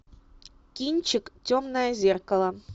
кинчик темное зеркало